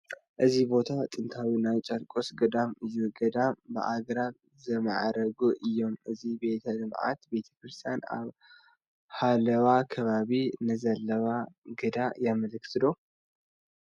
እዚ ቦታ ጭንታዊ ናይ ጨርቆስ ገዳም እዩ፡፡ ገዳማት ብኣግራብ ዝማዕረጉ እዮም፡፡ እዚ ቤተ ልምዓት ቤተ ክርስቲያን ኣብ ሓለዋ ከባቢ ንዘለዋ ግደ የምልክት ዶ?